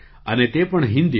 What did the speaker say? અને તે પણ હિન્દીમાં